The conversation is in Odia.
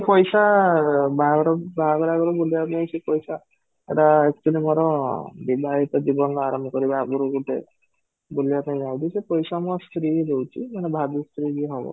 ପଇସା ବାହାଘର ବାହାଘର ଆଗରୁ ବୁଲିବାକୁ ଯାଇକି ସେ ପଇସା ଏଟା actually ମୋର ବିଧାୟକ ଜୀବନ ଆରମ୍ଭ କରିବା ଆଗରୁ ଗୋଟେ ବୁଲିବା ପାଇଁ ଯାଉଛି, ସେ ପଇସା ମୋ ସ୍ତ୍ରୀ ହିଁ ଦଉଚି ମାନେ ଭାବି ସ୍ତ୍ରୀ ଯିଏ ହବ